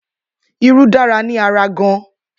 Irú dára ni ará gan.